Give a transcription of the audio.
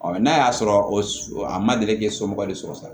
Ɔ n'a y'a sɔrɔ o a ma deli k'e somɔgɔ de sɔrɔ sa